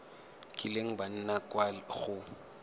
kileng ba nna kwa go